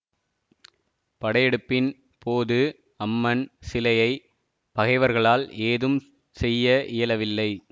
படையெடுப்பின் போது அம்மன் சிலையை பகைவர்களால் ஏதும் செய்ய இயலவில்லை